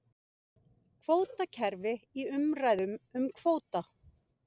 Kvótakerfi í umræðum um kvóta